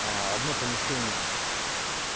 одно помещение